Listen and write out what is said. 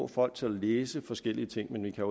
folk til at læse forskellige ting men man kan